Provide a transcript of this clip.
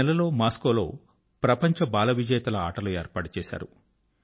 ఈ నెలలో మాస్కోలో ప్రపంచ బాల విజేతల ఆటలు ఏర్పాటు చేశారు